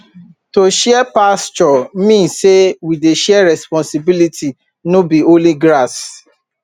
to share pasture mean say we dey share responsibility no be only grass